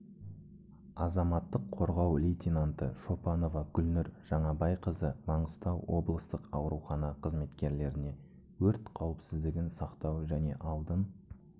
азаматтық қорғау лейтенанты шопанова гүлнұр жаңабайқызы маңғыстау облыстық аурухана қызметкерлеріне өрт қауіпсіздін сақтау және алдын